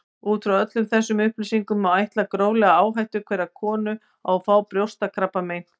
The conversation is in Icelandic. Út frá öllum þessum upplýsingum má áætla gróflega áhættu hverrar konu á að fá brjóstakrabbamein.